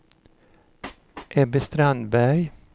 Ebbe Strandberg